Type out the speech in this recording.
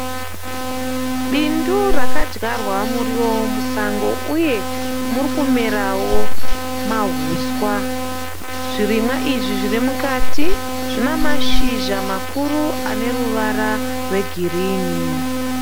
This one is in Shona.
Bindu rakadyarwa muriwo wemusango uye muri kumerawo mahuswa. Zvirimwa izvi zviri mukati zvine mashizha makuru ane ruvara rwegirinhi.